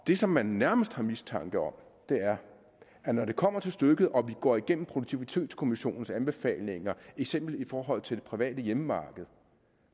det som man nærmest har mistanke om er at når det kommer til stykket og vi går igennem produktivitetskommissionens anbefalinger eksempelvis i forhold til det private hjemmemarked